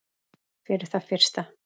Fyrir það fyrsta